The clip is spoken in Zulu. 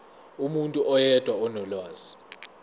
umuntu oyedwa onolwazi